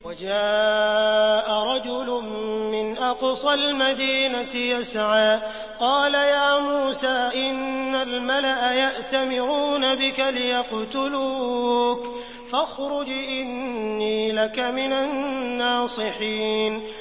وَجَاءَ رَجُلٌ مِّنْ أَقْصَى الْمَدِينَةِ يَسْعَىٰ قَالَ يَا مُوسَىٰ إِنَّ الْمَلَأَ يَأْتَمِرُونَ بِكَ لِيَقْتُلُوكَ فَاخْرُجْ إِنِّي لَكَ مِنَ النَّاصِحِينَ